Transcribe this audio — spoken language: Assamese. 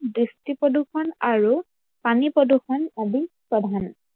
দৃষ্টি প্ৰদূৰ্ষন আৰু পানী প্ৰদূৰ্ষন আদি প্ৰধান।